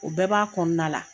O bɛɛ b'a kɔnɔna la.